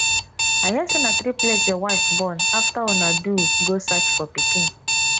i hear say na triplet your wife born after una do go search for pikin